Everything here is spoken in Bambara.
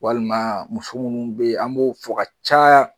Walima muso minnu bɛ ye an m'o fɔ ka ca